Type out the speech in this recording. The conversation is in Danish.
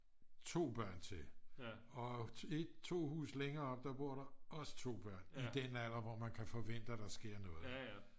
2 børn til og to huse længere oppe der bor der også 2 børn i den alder hvor man kan forvente at der sker noget